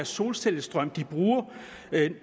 solcellestrøm de bruger